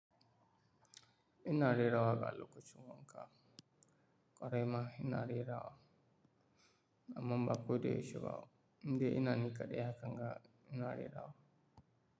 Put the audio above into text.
Ina rera waƙa lokacin wanka, ƙwarai ma ina rerawa. Amman ba koda yaushe ba, in dai ina ni ƙaɗai hakan ga ina rera wa.